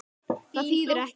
Það þýðir ekkert.